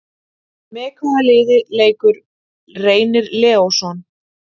Með hvaða liði leikur Reynir Leósson?